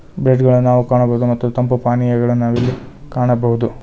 Breed ಗಳನ್ನ ನಾವು ಕಾಣಬಹುದು ಮತ್ತು ತಂಪು ಪಾನೀಯಗಳನ್ನು ನಾವಿಲ್ಲಿ ಕಾಣಬಹುದು.